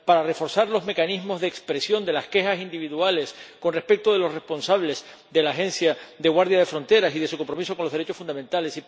para reforzar los mecanismos de expresión de las quejas individuales con respecto de los responsables de la Agencia Europea de la Guardia de Fronteras y Costas y de su compromiso con los derechos fundamentales